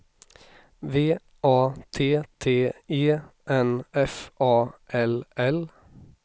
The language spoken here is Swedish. V A T T E N F A L L